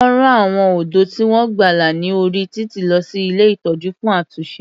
Wọ́n rán àwọn ọ̀dọ́ tí wọ́n gbàlà ní orí títì lọ sí ilé ìtọ́jú fún àtúnṣe.